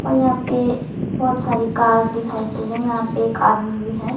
और यहां पे बहुत सारी कार दिखाई दे और यहां पे एक आदमी भी है।